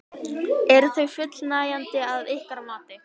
Eru þau fullnægjandi að ykkar mati?